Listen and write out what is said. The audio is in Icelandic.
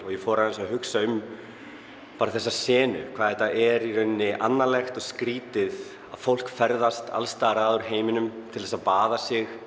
ég fór að hugsa um þessa senu hvað þetta er annarlegt og skrítið að fólk ferðast alls staðar að úr heiminum til þess að baða sig